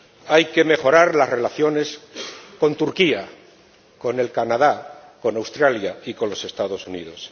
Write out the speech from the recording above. Hay que mejorar las relaciones con Turquía, con Canadá, con Australia y con los Estados Unidos.